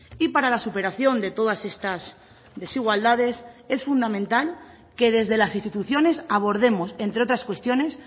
y para la superación de todas estas desigualdades es fundamental que desde las instituciones abordemos entre otras cuestiones